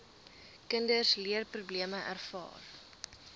kinders leerprobleme ervaar